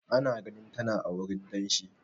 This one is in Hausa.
Ana ganin tana a wurin danshi.